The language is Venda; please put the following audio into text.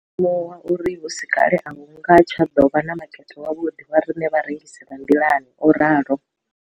Ndo ḓo zwi limuwa uri hu si kale a hu nga tsha ḓo vha na makete wavhuḓi wa riṋe vharengisi vha nḓilani, o ralo.